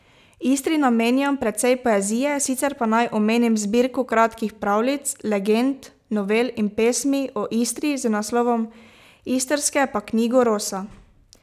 Istri namenjam precej poezije, sicer pa naj omenim zbirko kratkih pravljic, legend, novel in pesmi o Istri z naslovom Istrske pa knjigo Rosa.